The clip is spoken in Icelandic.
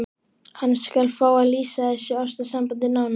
Hann skal fá að lýsa þessu ástarsambandi nánar.